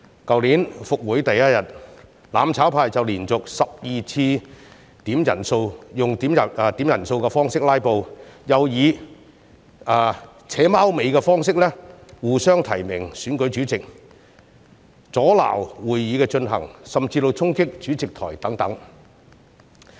去年復會第一天，"攬炒派"就連續12次點算法定人數，用點算人數的方式"拉布"，又以"扯貓尾"的方式，互相提名選舉主席，阻撓會議進行，甚至衝擊主席台等。